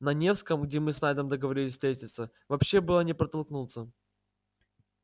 на невском где мы с найдом договорились встретиться вообще было не протолкнуться